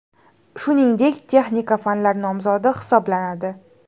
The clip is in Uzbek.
Shuningdek texnika fanlar nomzodi hisoblanadi.